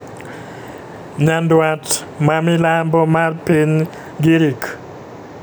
nyadwat ma milambo mar piny girik